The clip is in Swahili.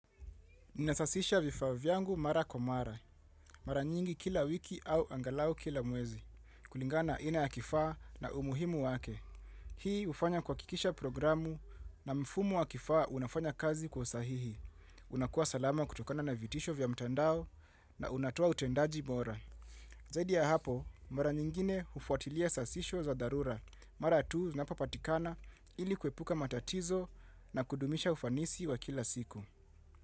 Ninasasisha vifaa vyangu mara kwa mara. Mara nyingi kila wiki au angalau kila mwezi. Kulingana aina ya kifaa na umuhimu wake. Hii hufanya kuhakikisha programu na mfumo wa kifaa unafanya kazi kwa sahihi. Unakuwa salama kutokana na vitisho vya mtandao na unatoa utendaji bora. Zaidi ya hapo, mara nyingine hufuatilia sasisho za dharura. Mara tu zinapopatikana ili kuepuka matatizo na kudumisha ufanisi wa kila siku.